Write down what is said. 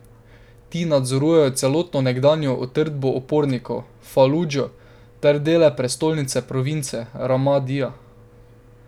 Ti nadzorujejo celotno nekdanjo utrdbo upornikov, Faludžo, ter dele prestolnice province, Ramadija.